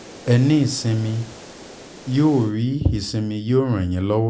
ẹ ní ìsinmi yóò rí ìsinmi yóò ràn yín lọ́